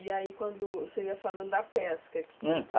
E aí quando o senhor ia falando da pesca, que tinha